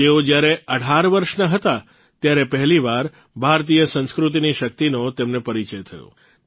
તેઓ જયારે ૧૮ વર્ષના હતા ત્યારે પહેલીવાર ભારતીય સંસ્કૃતિની શક્તિનો તેમને પરિચય થયો